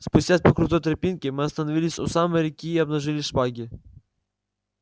спустясь по крутой тропинке мы остановились у самой реки и обнажили шпаги